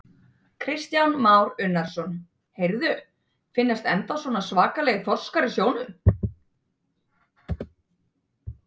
Kristján Már Unnarsson: Heyrðu, finnast ennþá svona svakalegir þorskar í sjónum?